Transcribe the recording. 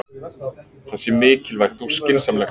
Það sé mikilvægt og skynsamlegt